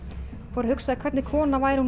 fór að hugsa hvernig kona væri